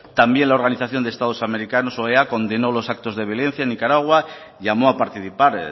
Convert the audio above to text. también la organización de estados americanos oea condenó los actos de violencia en nicaragua llamó a participar